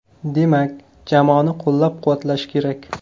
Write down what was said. Demak, jamoani qo‘llab-quvvatlash kerak.